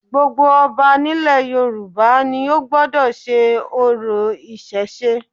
Gbogbo ọba nílẹ̀ Yorùbá ni ó gbọ́dọ̀ sé orò ìsèse